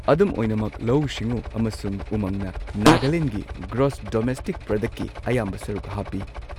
ꯑꯗꯨꯝ ꯑꯣꯏꯅꯃꯛ, ꯂꯧꯎ ꯁꯤꯡꯎ ꯑꯃꯁꯨꯡ ꯎꯃꯪꯅ ꯅꯥꯒꯥꯂꯦꯟꯒꯤ ꯒ꯭ꯔꯣꯁ ꯗꯣꯃꯦꯁꯇꯤꯛ ꯄ꯭ꯔꯗꯛꯀꯤ ꯑꯌꯥꯝꯕ ꯁꯔꯨꯛ ꯍꯥꯞꯄꯤ꯫